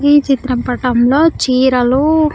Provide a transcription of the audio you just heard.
ఈ చిత్ర పటంలో చీరలు.